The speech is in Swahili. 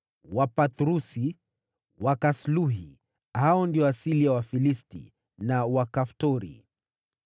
Wapathrusi, Wakasluhi (hao ndio asili ya Wafilisti) na Wakaftori.